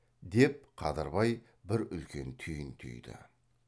деп қадырбай бір үлкен түйін түйді